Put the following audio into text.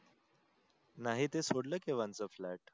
नाही ते सोडले केव्हांच flat